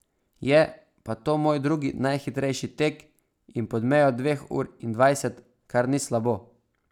Je pa to moj drugi najhitrejši tek in pod mejo dveh ur in dvajset, kar ni slabo.